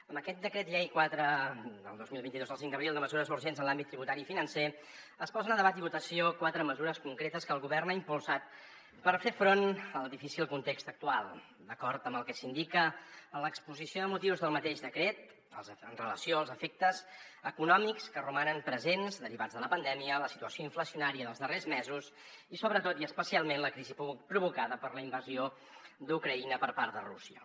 amb aquest decret llei quatre dos mil vint dos del cinc d’abril de mesures urgents en l’àmbit tributari i financer es posen a debat i votació quatre mesures concretes que el govern ha impulsat per fer front al difícil context actual d’acord amb el que s’indica en l’exposició de motius del mateix decret amb relació als efectes econòmics que romanen presents derivats de la pandèmia la situació inflacionària dels darrers mesos i sobretot i especialment la crisi provocada per la invasió d’ucraïna per part de rússia